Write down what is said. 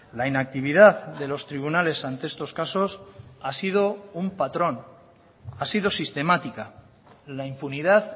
la inactividad de los tribunales ante estos casos ha sido un patrón ha sido sistemática la impunidad